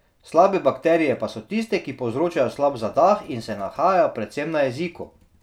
Slabe bakterije pa so tiste, ki povzročajo slab zadah in se nahajajo predvsem na jeziku.